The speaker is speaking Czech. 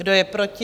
Kdo je proti?